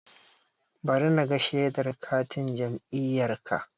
Bari naga shedar katin jam'iyyarka